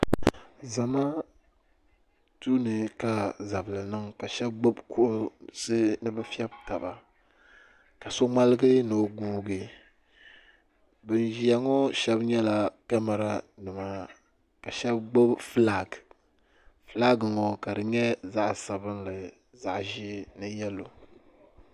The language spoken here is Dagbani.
Zamaatu ni ka zabili niŋ ka sheba gbibi kuɣusi nibi febi taba ka so ŋmaligi ni o guugi ban ʒi ŋɔ sheba nyɛla kamara nima ka sheba gbibi filaaki filaaki ŋɔ ka di nyɛ zaɣa sabinli zaɣa ʒee ni yelo.